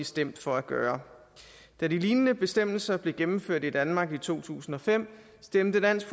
stemt for at gøre da de lignende bestemmelser blev indført i danmark i to tusind og fem stemte dansk